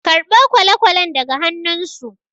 karɓo kwale-kwalen daga annunsu